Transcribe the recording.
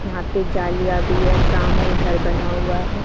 यहाँ पे जालियां भी है सामने घर बना हुआ है।